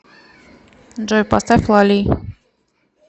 джой поставь лали